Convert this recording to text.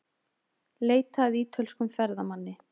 Leita að ítölskum ferðamanni